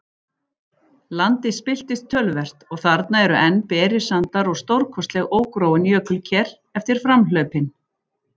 Landist spilltist töluvert, og þarna eru enn berir sandar og stórkostleg ógróin jökulker eftir framhlaupin.